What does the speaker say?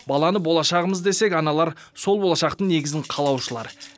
баланы болашағымыз десек аналар сол болашақтың негізін қалаушылар